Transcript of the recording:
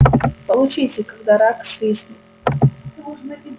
получите когда рак свистнет